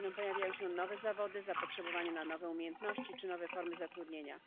Co chwila pojawiają się nowe zawody, zapotrzebowanie na nowe umiejętności czy nowe formy zatrudnienia.